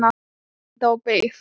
Úrvinda og beygð.